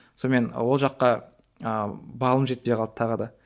сонымен ол жаққа ыыы балым жетпей қалды тағы да